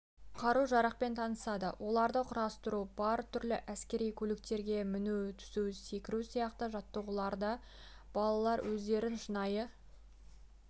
қару-жарақпен танысады оларды құрастыру бар түрлі әскери көліктерге міну түсу секіру сияқты жаттығуларда балалар өздерін шынайы